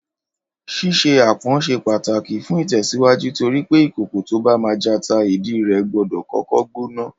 Ṣíṣe aápọn ṣe pàtàkì fún ìtẹ̀síwájú torí pé ìkòkò tó bá máa jata, ìdí rẹ̀ gbọ́dọ̀ kọ́kọ́ gbóná